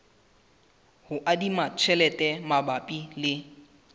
ho adima tjhelete mabapi le